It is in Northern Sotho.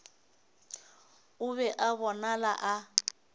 o be a bonala a